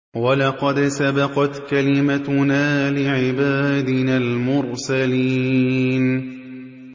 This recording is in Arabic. وَلَقَدْ سَبَقَتْ كَلِمَتُنَا لِعِبَادِنَا الْمُرْسَلِينَ